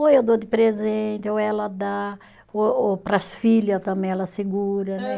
Ou eu dou de presente, ou ela dá, ou ou para as filha também ela segura, né?